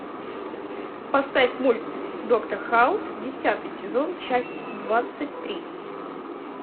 поставь мульт доктор хаус десятый сезон часть двадцать три